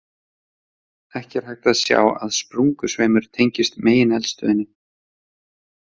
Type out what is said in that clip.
Ekki er hægt að sjá að sprungusveimur tengist megineldstöðinni.